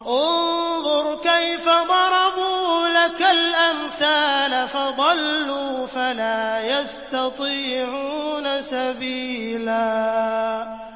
انظُرْ كَيْفَ ضَرَبُوا لَكَ الْأَمْثَالَ فَضَلُّوا فَلَا يَسْتَطِيعُونَ سَبِيلًا